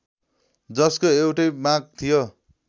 जसको एउटै माग थियो